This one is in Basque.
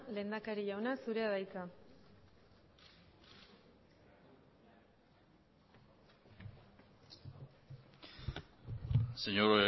lehendakari jauna zurea da hitza señor